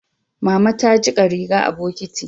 Mama ta jika riga a bokitin